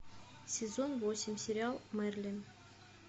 сезон восемь сериал мерлин